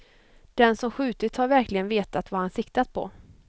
Den som skjutit har verkligen vetat vad han siktat på.